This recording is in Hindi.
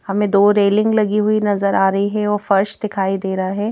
हमें दो रेलिंग लगी हुई नजर आ रही है और फर्श दिखाई दे रहा है।